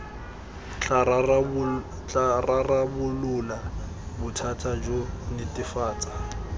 tla rarabolola bothata jo netefatsa